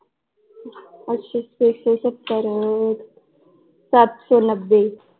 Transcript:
ਅੱਛਾ ਛੇ ਸੌ ਸੱਤਰ ਸਤ ਸੌ ਨੱਬੇ l